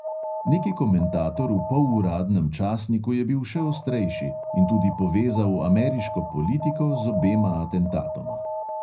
Neki komentator v poluradnem časniku je bil še ostrejši in tudi povezal ameriško politiko z obema atentatoma.